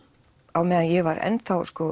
á meðan ég var enn